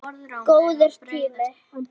Góður tími.